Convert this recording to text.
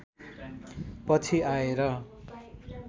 पछि आएर